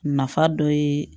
Nafa dɔ ye